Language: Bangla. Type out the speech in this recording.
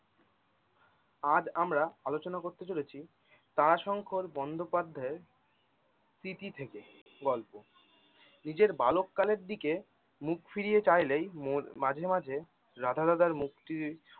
আজ আমরা আলোচনা করতে চলেছি দা শংকর বন্ধোপাধ্যায়ের থেকে গল্প নিজের বালক কালের দিকে মুখ ফিরিয়ে চাইলেই মোর মাঝে মাঝে রাঁধা দাদার মুক্তি